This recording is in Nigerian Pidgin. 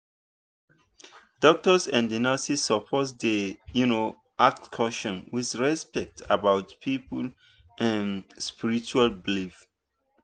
doctors and nurses suppose dey um ask questions with respect about people um spiritual belief.